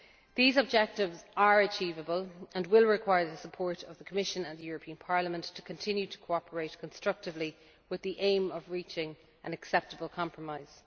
Council. These objectives are achievable, and will require the support of the Commission and the European Parliament so we can continue to cooperate constructively with the aim of reaching an acceptable compromise.